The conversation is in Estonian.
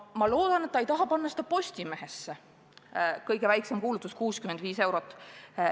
Ma loodan, et ta ei taha panna seda Postimehesse, kus kõige väiksem kuulutus maksab 65 eurot.